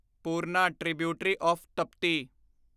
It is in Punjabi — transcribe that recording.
Purna tributary of Tapti